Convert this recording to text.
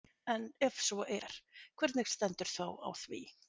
Ef svo er, hvernig stendur þá á því?